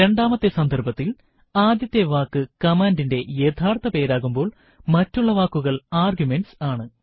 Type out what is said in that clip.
രണ്ടാമത്തെ സന്ദർഭത്തിൽ ആദ്യത്തെ വാക്ക് കമാൻഡിന്റെ യഥാർത്ഥ പേരാകുമ്പോൾ മറ്റുള്ള വാക്കുകൾ ആർഗ്യുമെന്റ്സ് ആണ്